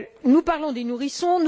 Nous parlons des nourrissons.